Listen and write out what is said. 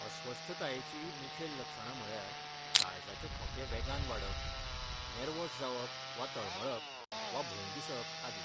अस्वस्थतायेचीं मुखेल लक्षणां म्हळ्यार काळजाचे ठोके वेगान वाडप, नेर्वोस जावप वा तळमळप, वा भंय दिसप आदी.